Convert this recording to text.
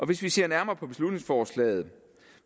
hvis vi ser nærmere på beslutningsforslaget